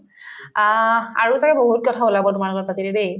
আহ্, আৰু ছাগে বহুত কথা ওলাব তোমাৰ লগত পাতিলে দেই